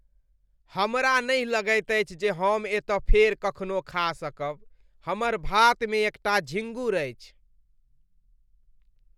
हमरा नहि लगैत अछि जे हम एतऽ फेर कखनो खा सकब, हमर भातमे एकटा झींगुर अछि।